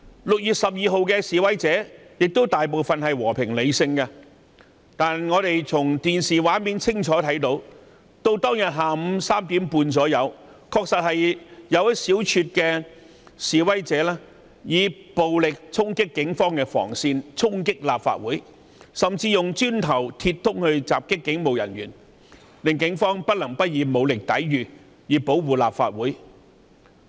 6月12日，大部分示威者同樣和平理性，但我們從電視畫面清楚看到，當天下午大約3時半，確有一小撮示威者以暴力衝擊警方防線及立法會，甚至用磚頭及鐵枝襲擊警務人員，令警方不能不以武力抵禦，以保護立法會。